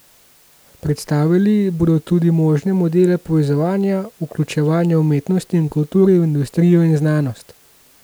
Predstavili bodo tudi možne modele povezovanja, vključevanja umetnosti in kulture v industrijo in znanost.